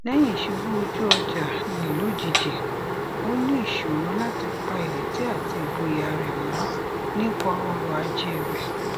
lẹyìn ìṣubú ojú ọjà ní lojijì ó ní ìṣòro láti pa ìrètí àti ìgboyà rẹ mọ nípa ọrọ ajé rẹ